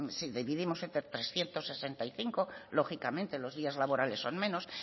dividimos entre trescientos sesenta y cinco lógicamente los días laborales son menos